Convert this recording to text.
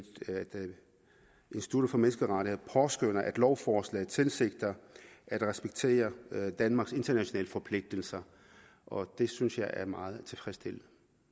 institut for menneskerettigheder påskønner at lovforslaget tilsigter at respektere danmarks internationale forpligtelser og det synes jeg er meget tilfredsstillende